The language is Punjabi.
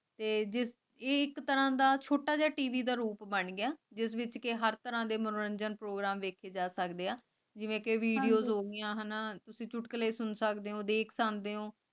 ਤੇ ਸਿਰਫ਼ ਇੱਕ ਤਾਂ ਦਾ ਸੁੱਟਣ ਦੇ ਟੀਵੀ ਦਾ ਰੂਪ ਬਣ ਕੇ ਹਰ ਤਰ੍ਹਾਂ ਦੇ ਮਨੋਰੰਜਨ ਪ੍ਰੋਗਰਾਮ ਵੇਖੇ ਜਾਤ vides